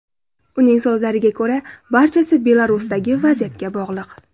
Uning so‘zlariga ko‘ra, barchasi Belarusdagi vaziyatga bog‘liq.